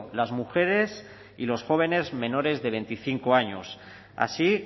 las mujeres y los jóvenes menores de veinticinco años así